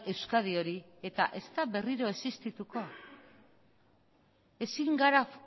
euskadi hori eta ez da berriro existituko ezin gara